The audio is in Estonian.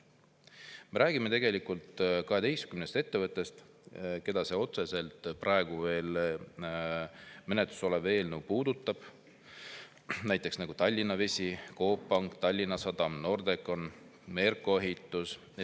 Me räägime 12 ettevõttest, keda see praegu veel menetluses olev eelnõu otseselt puudutab, näiteks Tallinna Vesi, Coop Pank, Tallinna Sadam, Nordecon, Merko Ehitus.